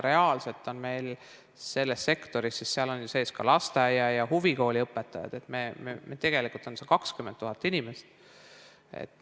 Reaalselt on selles sektoris, seal on sees ka lasteaia- ja huvikooliõpetajad, 20 000 inimest.